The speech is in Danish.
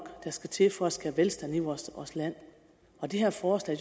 der skal til for at skabe velstand i vores land og det her forslag